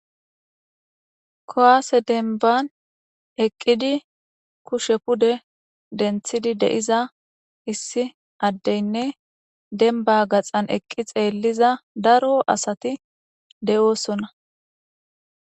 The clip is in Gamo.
Kuase denban eqidi kushshe pude dentidi deiza issi addene denba gaxan eqidi xeliza daro asati deosona.